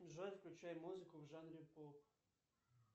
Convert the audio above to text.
джой включай музыку в жанре поп